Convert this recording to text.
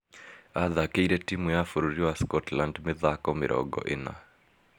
Athakĩre timu ya bururi wa Scotland mĩthako mĩrongo ĩna